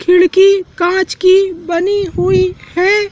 खिड़की कांच की बनी हुई हैं।